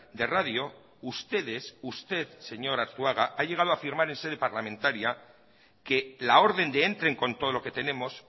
de radio ustedes usted señor arzuaga ha llegado a afirmar en sede parlamentaria que la orden de entren con todo lo que tenemos